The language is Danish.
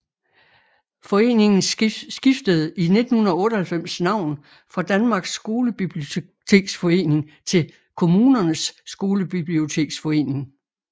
Foreningen skiftede i 1998 navn fra Danmarks Skolebiblioteksforening til Kommunernes Skolebiblioteksforening